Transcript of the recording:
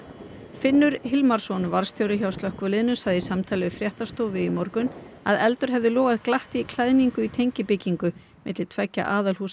Finnur Hilmarsson varðstjóri hjá slökkviliðinu sagði í samtali við fréttastofu í morgun að eldur hefði logað glatt í klæðningu í tengibyggingu milli tveggja